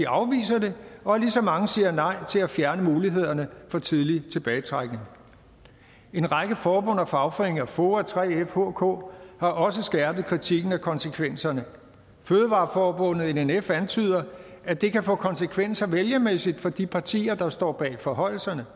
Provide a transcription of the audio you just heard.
afviser det og at lige så mange siger nej til at fjerne mulighederne for tidlig tilbagetrækning en række forbund og fagforeninger og foa 3f og hk har også skærpet kritikken af konsekvenserne fødevareforbundet nnf antyder at det kan få konsekvenser vælgermæssigt for de partier der står bag forhøjelserne